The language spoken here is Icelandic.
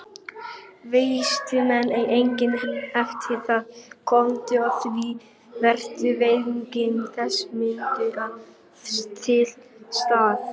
Vísindamenn eiga eftir að komast að því hvers vegna þessi munur er til staðar.